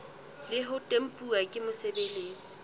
le ho tempuwa ke mosebeletsi